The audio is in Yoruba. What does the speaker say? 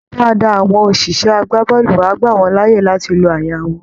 Dáadáa, àwọn òṣìṣẹ́ agbábọ́ọ̀lù á gbà wọ́n láàyè láti lo àyà wọn